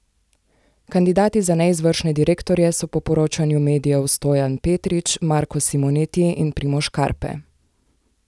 Kandidati za neizvršne direktorje so po poročanju medijev Stojan Petrič, Marko Simoneti in Primož Karpe.